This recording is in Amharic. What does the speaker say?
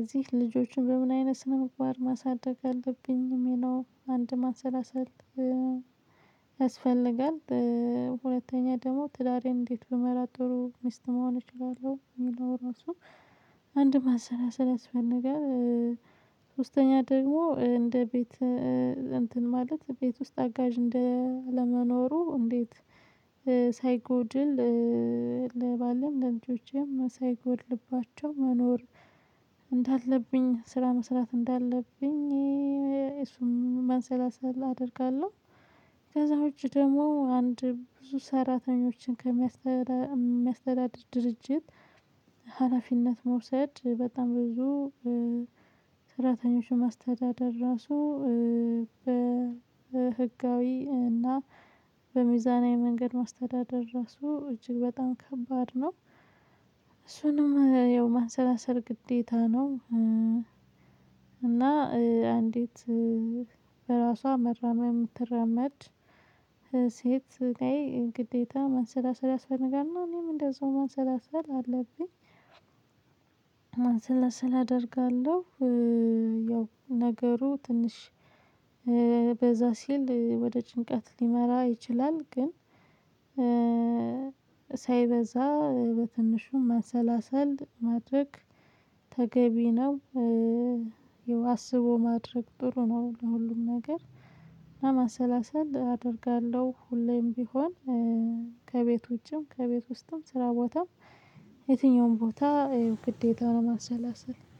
እዚህ ልጆችን በምን አይነት ስነ ምግባር ማሳደግ አለብኝ እሚለው አንድ ማሰላሰል ያስፈልጋል። ሁለተኛ ደሞ ትዳሬን እንዴት ብመራ ጥሩ ሚስት መሆን እችላለሁ እሚለው ራሱ አንድም ማሰላሰል ያስፈልጋል። ሶስተኛ ደግሞ እንደ ቤት እንትን ማለት ቤት ውስጥ አጋዥ እንደ አለመኖሩ እንዴት ሳይጎድል ለባሌም ለልጆቼም ሳይጎድልባቸው መኖር እንዳለብኝ ስራ መስራት እንዳለብኝ እሱም ማሰላሰል አደርጋለሁ። ከዛ ውጪ ደግሞ አንድ ብዙ ሰራተኞችን ከሚያስተዳድር ድርጅት ሀላፊነት መውሰድ በጣም ብዙ ሰራተኞችን ማስተዳደር ራሱ በህጋዊ እና በሚዛናዊ መንገድ ማስተዳደር ራሱ እጅግ በጣም ከባድ ነው። እሱንም ያው ማንሰላሰል ግዴታ ነው። እና አንዲት በራሷ መራመም ትረመድ ላይ ግዴታ መንሰላሰል አስፈነጋሪ ነው እኔም እንደዛው መንሰላሰል አለብኝ። ማንሰላሰል አደርጋለሁ። ያው ነገሩ ትንሽ በዛ ሲል ወደ ጭንቀት ሊመራ ይችላል ግን ሳይበዛ በትንሹም ማሰላሰል ማድረግ ተገቢ ነው። ያው አስቦ ማድረግ ጥሩ ነው። ለሁሉም ነገር ለመሰላሰል አደርጋለሁ ሁሌም ቢሆን ከቤት ውጭም ከቤት ውስጥም ስራ ቦታም የትኛውም ቦታ ግዴታ ማሰላሰል